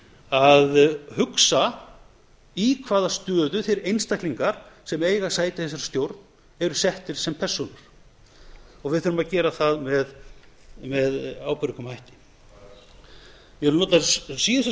að hugsa í hvaða stöðu þeir einstaklingar sem eiga sæti í þessari stjórn eru settir sem persóna og við þurfum að gera það með ábyrgum hætti ég vil nota þessar síðustu